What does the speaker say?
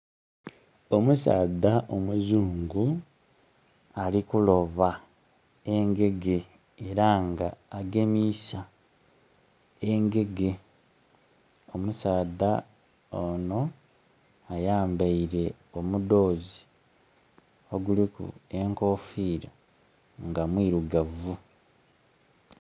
Omusaadha omuzungu ali kuloba engege era nga agemisa engege. Omusaadha ono ayambeire omudhozi oguliku enkofira nga mwirugavu.